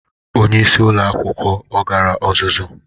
Onyeisi ụlọ akwụkwọ ọ gara ọzụzụ?